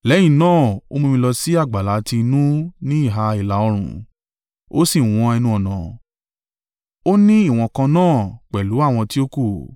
Lẹ́yìn náà, ó mú mi lọ sí àgbàlá tí inú ni ìhà ìlà-oòrùn, ó sì wọn ẹnu-ọ̀nà; ó ní ìwọ̀n kan náà pẹ̀lú àwọn tí ó kù.